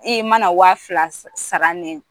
I ma na waa fila sa sara